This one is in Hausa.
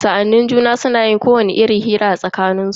Sa'annin juna suna yin kowacce irin hira a tsakanin su.